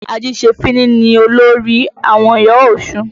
Ajìṣefíní ni olórí àwọn ìyá Ọ̀ṣun.